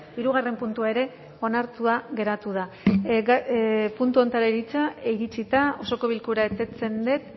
hirugarrena puntua ere onartua geratu da puntu honetara iritsita osoko bilkura eteten dut